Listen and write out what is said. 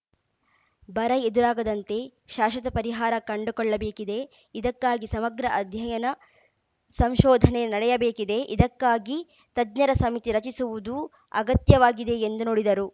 ಬರ ಎದುರಾಗದಂತೆ ಶಾಶ್ವತ ಪರಿಹಾರ ಕಂಡುಕೊಳ್ಳಬೇಕಿದೆ ಇದಕ್ಕಾಗಿ ಸಮಗ್ರ ಅಧ್ಯಯನ ಸಂಶೋಧನೆ ನಡೆಯಬೇಕಿದೆ ಇದಕ್ಕಾಗಿ ತಜ್ಞರ ಸಮಿತಿ ರಚಿಸುವುದು ಅಗತ್ಯವಾಗಿದೆ ಎಂದು ನುಡಿದರು